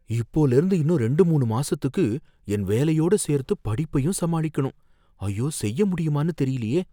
இப்போலேர்ந்து இன்னும் ரெண்டு மூணு மாசத்துக்கு என் வேலையோட சேர்த்து படிப்பையும் சமாளிக்கணும், ஐயோ! செய்ய முடியுமானு தெரியலயே!